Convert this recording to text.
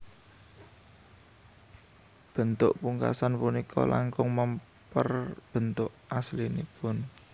Bentuk pungkasan punika langkung mèmper bentuk aslinipun